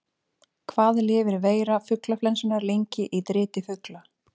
Hvað lifir veira fuglaflensunnar lengi í driti fugla?